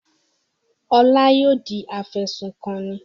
Ọlá yóò di afẹ̀sùnkanni.